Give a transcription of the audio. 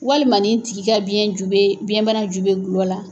Walima nin tigi ka biyɛn ju bɛ biyɛnbana ju bɛ gulɔ la.